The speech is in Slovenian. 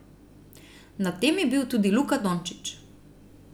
Na tem je bil tudi Luka Dončić.